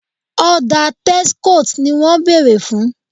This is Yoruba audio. Ọ̀dà Texcoat ni wọ́n béèrè fún